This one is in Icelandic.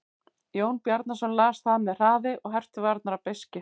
Jón Bjarnason las það með hraði og herpti varirnar af beiskju.